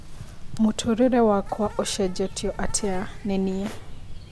Mũtũrĩre wakwa ũcenjetio atĩa nĩ nĩe